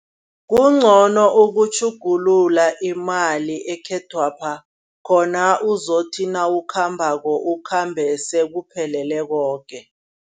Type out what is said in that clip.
Kuncono ukutjhugulula imali ekhethwapha khona uzothi nawukhambako, ukhambe sekuphelele koke.